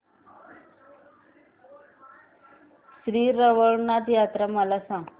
श्री रवळनाथ यात्रा मला सांग